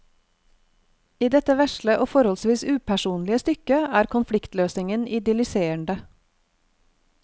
I dette vesle og forholdsvis upersonlige stykket er konfliktløsningen idylliserende.